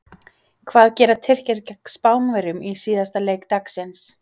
Hvað gera Tyrkir gegn Spánverjum í síðasta leik dagsins?